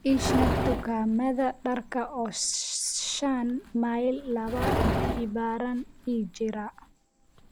ii sheeg dukaamada darka oo shan mayl laba jibaaran ii jira